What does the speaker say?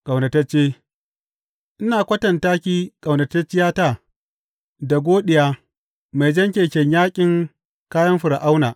Ƙaunatacce Ina kwatanta ke ƙaunatacciyata, da goɗiya mai jan keken yaƙin kayan Fir’auna.